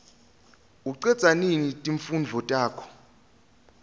ucedza nini timfundvo takho